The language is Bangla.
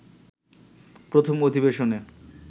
প্রথম অধিবেশনে